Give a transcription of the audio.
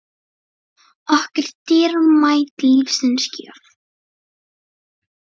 okkur dýrmæt lífsins gjöf.